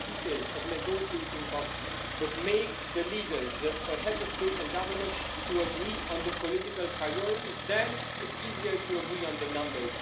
not details of the negotiating box, but make the leaders, the heads of state or government, agree on the political priorities. Then it's easier to agree on the numbers.